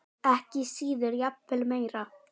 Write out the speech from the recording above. Ekki síður og jafnvel meira.